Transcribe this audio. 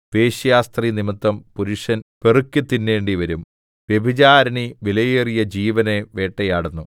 വേശ്യാസ്ത്രീനിമിത്തം പുരുഷൻ പെറുക്കിത്തിന്നേണ്ടിവരും വ്യഭിചാരിണി വിലയേറിയ ജീവനെ വേട്ടയാടുന്നു